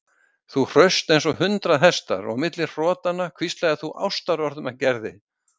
Þú hraust eins og hundrað hestar og milli hrotanna hvíslaðir þú ástarorðum að Gerði.